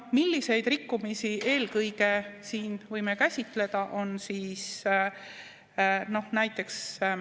Milliseid rikkumisi eelkõige siin võime käsitleda?